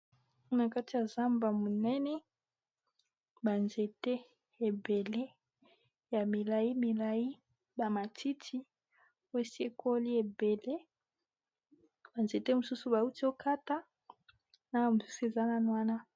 na kati ya zamba monene banzete ebele ya milai milai bamatiti wesekoli ebele banzete mosusu bauti okata na bamosusu ezana nwana